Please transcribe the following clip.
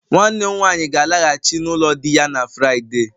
Nwanne m nwanyi ga-alaghachi n'ulo di ya na Friday